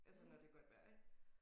Altså når det godt vejr ik